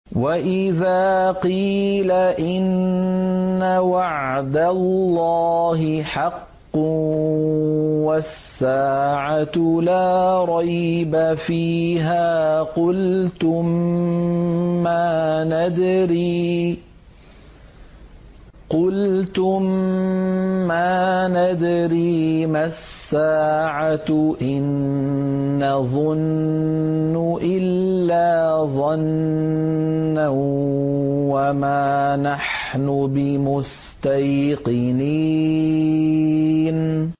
وَإِذَا قِيلَ إِنَّ وَعْدَ اللَّهِ حَقٌّ وَالسَّاعَةُ لَا رَيْبَ فِيهَا قُلْتُم مَّا نَدْرِي مَا السَّاعَةُ إِن نَّظُنُّ إِلَّا ظَنًّا وَمَا نَحْنُ بِمُسْتَيْقِنِينَ